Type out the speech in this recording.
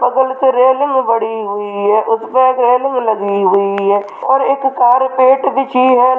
बगल पे रैलिंग बड़ी हुई है उस पे रैलिंग लगी हुई है और एक कार्पेट बिछी है।